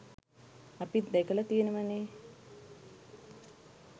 අපිත් දැකල තියෙනවනේ.